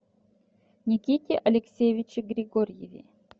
никите алексеевиче григорьеве